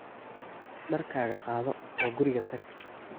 dharkaaga qaado oo guriga tag